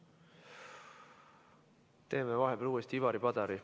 Võtame vahepeal uuesti Ivari Padari.